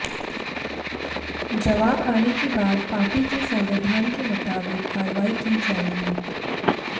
जवाब आने के बाद पार्टी के संविधान के मुताबिक कार्रवाई की जाएगी